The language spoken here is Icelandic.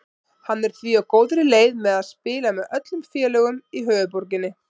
Hann er því á góðri leið með að spila með öllum félögum í höfuðborginni.